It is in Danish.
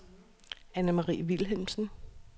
Annemarie Vilhelmsen